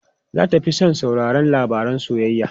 Za ta fi son sauraron labaran soyayya.